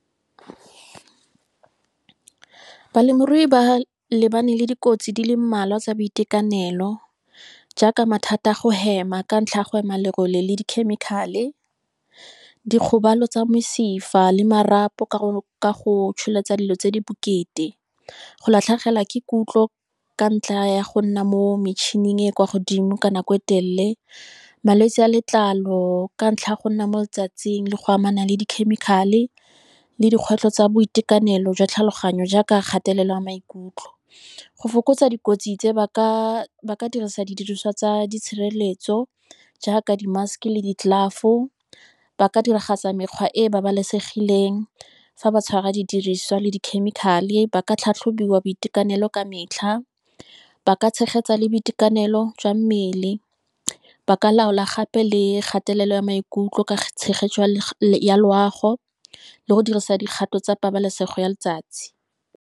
Balemirui ba lebane le dikotsi di le mmalwa tsa boitekanelo, jaaka mathata a go hema ka ntlha ya go hema lerole le dikhemikhale, dikgobalo tsa mesifa, le marapo, ka go tsholetsa dilo tse di bokete, go latlhegelwa ke kutlwo, ka ntlha ya go nna mo mechining e kwa godimo ka nako e telele. Malwetsi a letlalo, ka ntlha ya go nna mo letsatsing le go amana le di-chemical-e, le dikgwetlho tsa boitekanelo jwa tlhaloganyo jaaka kgatelelo ya maikutlo. Go fokotsa dikotsi tse ba ka dirisa didiriswa tsa di tshireletso jaaka di-mask le di-glove. Ba ka diragatsa mekgwa e e babalesegileng fa ba tshwara didiriswa le di-chemical-e. Ba ka tlhatlhobiwa boitekanelo ka metlha ba ka tshegetsa le boitekanelo jwa mmele, ba ka laola gape le kgatelelo ya maikutlo ka tshegetso ya loago le go dirisa dikgato tsa pabalesego ya letsatsi.